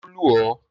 Ṣé o lù ọ́?